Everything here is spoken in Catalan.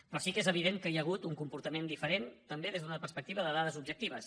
però sí que és evident que hi ha hagut un comportament diferent també des d’una perspectiva de dades objectives